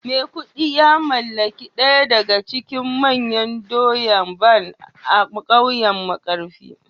maikudu ya mallaki daya daga cikin manyan doya Barn a kauyen markafi